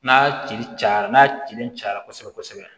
N'a cili cayara n'a cilen caya kosɛbɛ kosɛbɛ